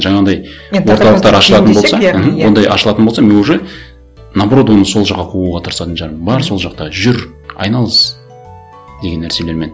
жаңағындай ондай ашылатын болса мен уже наоборот оны сол жаққа қууға тырысатын шығармын бар сол жақта жүр айналыс деген нәрселермен